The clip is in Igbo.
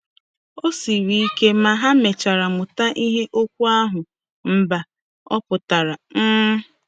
O siri ike, ma ha mechara mụta ihe okwu ahụ 'mba' pụtara. ’” um